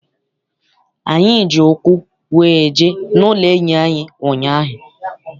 Anyị ji ụkwụ wee jee n'ụlọ enyi m ụnyaahụ.